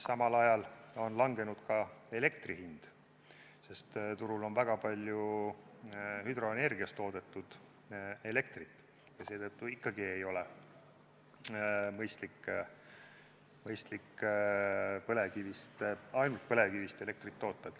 Samal ajal on langenud ka elektri hind, sest turul on väga palju hüdroenergiast toodetud elektrit, ja seetõttu ikkagi ei ole mõistlik ainult põlevkivist elektrit toota.